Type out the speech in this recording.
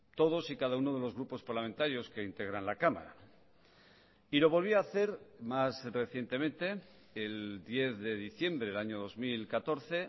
todos y cada uno de los grupos parlamentarios que integran la cámara y lo volvía a hacer más recientemente el diez de diciembre del año dos mil catorce